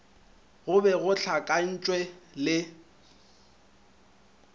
go be go hlakantše le